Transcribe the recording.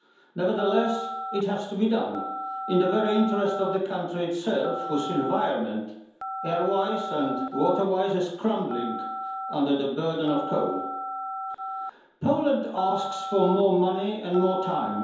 Nevertheless, it has to be done in the very interest of the country itself whose environment, airways and waterways are crumbling under the burden of coal. Poland asks for more money and more time.